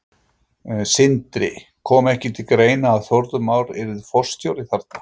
Sindri: Kom ekki til greina að Þórður Már yrði forstjóri þarna?